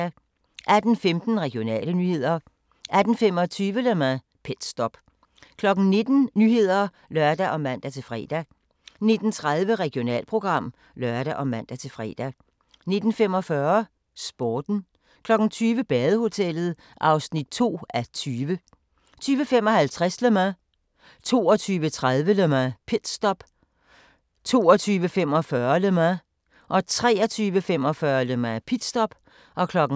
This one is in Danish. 18:15: Regionale nyheder 18:25: Le Mans - pitstop 19:00: Nyhederne (lør og man-fre) 19:30: Regionalprogram (lør og man-fre) 19:45: Sporten 20:00: Badehotellet (2:20) 20:55: Le Mans 22:30: Le Mans - pitstop 22:45: Le Mans 23:45: Le Mans - pitstop